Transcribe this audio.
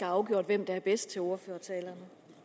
afgjort hvem der er bedst til ordførertalerne